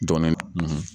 Dɔgɔnɔ